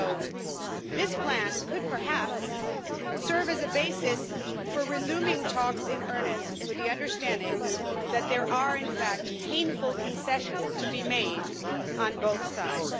So this plan could perhaps serve as a basis for resuming talks in earnest with the understanding that there are, in fact, painful concessions to be made on both sides.